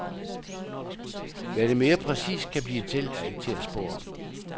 Hvad det mere præcist kan blive til, er ikke til at spå om.